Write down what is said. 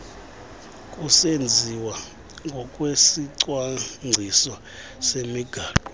kusenziwa ngokwesicwangciso semigaqo